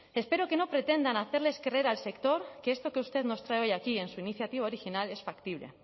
espero que no pretendan hacerles creer al sector que esto que usted nos trae hoy aquí en su iniciativa original es factible